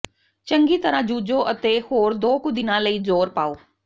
ਚੰਗੀ ਤਰ੍ਹਾਂ ਜੂਝੋ ਅਤੇ ਹੋਰ ਦੋ ਕੁ ਦਿਨਾਂ ਲਈ ਜ਼ੋਰ ਪਾਓ